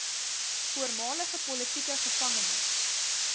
voormalige politieke gevangenes